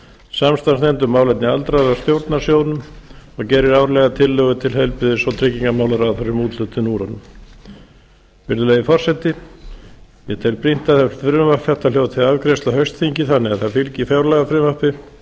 samstarfsnefnd um málefni aldraðra stjórnar sjóðnum og gerir árlega tillögur til heilbrigðis og tryggingamálaráðherra um úthlutun úr honum virðulegi forseti ég tel brýnt að frumvarp þetta hljóti afgreiðslu á haustþingi þannig að það fylgi fjárlagafrumvarpi og